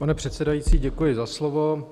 Pane předsedající, děkuji za slovo.